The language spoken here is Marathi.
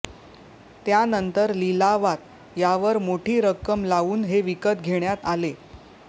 त्यानंतर लिलावात यावर मोठी रक्कम लावून हे विकत घेण्यात आले